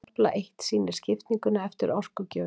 tafla eitt sýnir skiptinguna eftir orkugjöfum